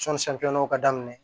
ka daminɛ